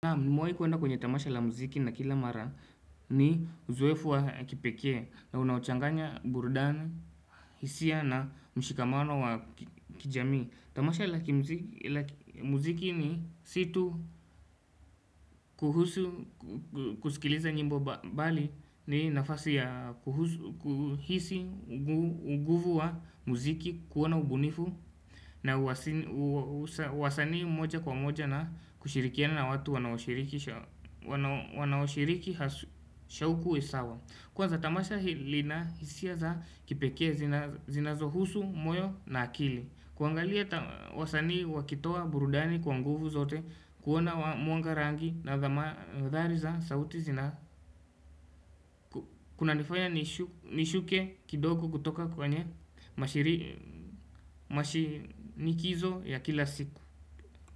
Na mwai kuenda kwenye tamasha la muziki na kila mara ni uzoefu wa kipeke na unachanganya burudani, hisia na mshikamano wa kijami Tamasha la muziki ni situ kuhusu, kusikiliza nyimbo mbali ni nafasi ya kuhusu, kuhisi, uguvu wa muziki, kuona ubunifu na wasanii moja kwa moja na kushirikia na watu wanaoshiriki shauku isawa Kwa za tamasha hili na hisia za kipeke zinazo husu, moyo na akili kuangalia wasani wakitoa burudani kwa nguvu zote kuona muanga rangi na dhari za sauti zina Kuna nifanya nishuke kidogo kutoka kwa nye mashinikizo ya kila siku.